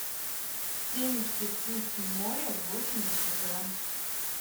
семечки вкус моря восемьдесят грамм